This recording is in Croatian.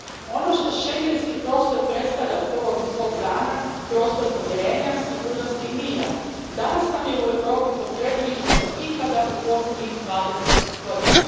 Ono što schengenski prostor predstavlja od prvog svog dana prostor povjerenja, sigurnosti i mira, danas nam je u Europi potrebnije nego ikad u posljednjih dvadeset godina.